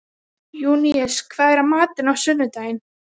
Júníus, hvað er í matinn á sunnudaginn?